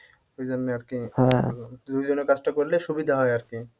ঐজন্য আরকি দুইজনে কাজটা করলে সুবিধা হয় আরকি